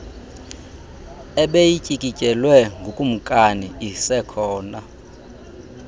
ebeyityikityelwe ngukumkani isekhona